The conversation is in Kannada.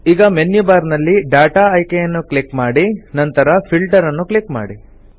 ಈಗ ಮೆನ್ಯು ಬಾರ್ ನಲ್ಲಿ ಡಾಟಾ ಆಯ್ಕೆಯನ್ನು ಕ್ಲಿಕ್ ಮಾಡಿ ನಂತರ ಫಿಲ್ಟರ್ ನ್ನು ಕ್ಲಿಕ್ ಮಾಡಿ